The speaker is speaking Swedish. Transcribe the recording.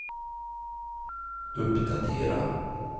uppdatera